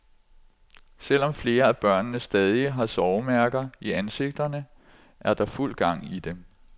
Selv om flere af børnene stadig har sovemærker i ansigterne, er der fuld gang i dem.